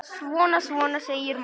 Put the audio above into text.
Svona, svona, segir mamma.